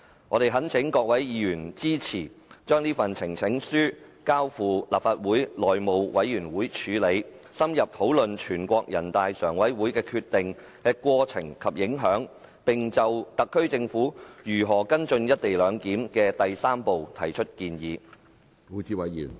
我們懇請各位議員支持，將這份呈情書交付立法會內務委員會處理，深入討論人大常委會的決定的過程及影響，並就特區政府如何跟進"一地兩檢"的第三步提出建議。